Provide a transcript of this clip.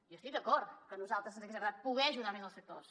hi estic d’acord que a nosaltres ens hagués agradat poder ajudar més els sectors